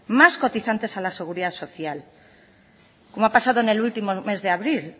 más cotizantes a la seguridad social como ha pasado en el último mes de abril